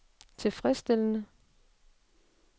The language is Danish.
tilfredsstillende